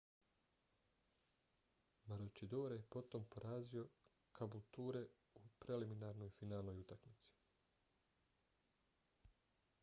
maroochydore je potom porazio caboolture u preliminarnoj finalnoj utakmici